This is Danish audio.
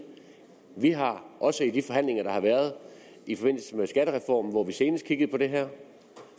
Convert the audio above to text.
vi har også i de forhandlinger der har været i forbindelse med skattereformen hvor vi senest kiggede på det her